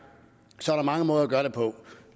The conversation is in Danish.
så der mange måder at gøre det på